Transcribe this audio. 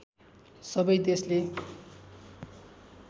सबै देशले